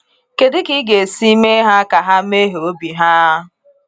Kedụ ka ịga esi mee ha ka ha meghe obi ha?